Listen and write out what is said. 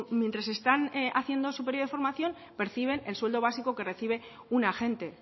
mientras están haciendo su periodo de formación perciben el sueldo básico que recibe un agente